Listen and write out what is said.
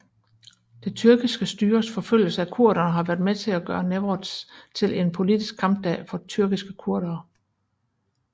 Det tyrkiske styres forfølgelse af kurderne har været med til at gøre newroz til en politisk kampdag for tyrkiske kurdere